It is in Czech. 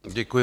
Děkuji.